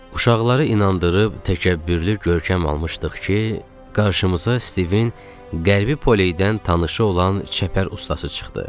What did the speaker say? Uşaqları inandırıb təkəbbürlü görkəm almışdıq ki, qarşımıza Stivin Qərbi Poleydən tanışı olan çəpər ustası çıxdı.